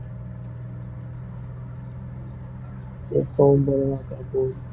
எப்பவும் போலதாக்கா போகுது.